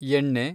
ಎಣ್ಣೆ